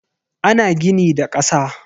Ana gini da kasa.